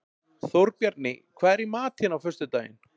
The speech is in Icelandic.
Þórbjarni, hvað er í matinn á föstudaginn?